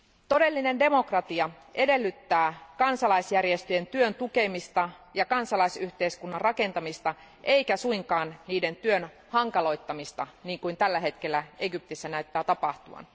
Todellinen demokratia edellyttää kansalaisjärjestöjen työn tukemista ja kansalaisyhteiskunnan rakentamista eikä suinkaan niiden työn hankaloittamista niin kuin tällä hetkellä Egyptissä näyttää tapahtuvan.